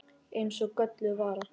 Eins og gölluð vara.